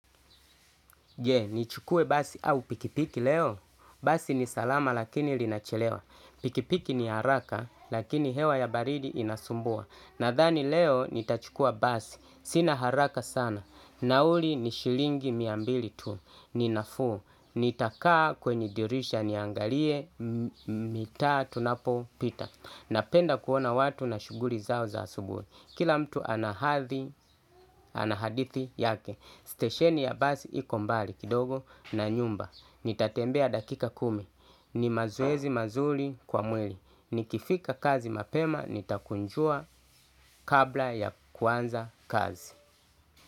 Je, nichukue basi au pikipiki leo. Basi ni salama lakini linachelewa. Pikipiki ni haraka lakini hewa ya baridi inasumbua. Nadhani leo nitachukua basi. Sina haraka sana. Nauli ni shilingi mia mbili tu. Ninafuu. Nitakaa kwenye dirisha niangalie mitaa tunapo pita. Napenda kuona watu na shughuli zao za asubuhi. Kila mtu ana hadithi yake. Stesheni ya basi iko mbali kidogo na nyumba. Nitatembea dakika kumi. Ni mazoezi mazuri kwa mwili. Nikifika kazi mapema nitakunjua kabla ya kuanza kazi.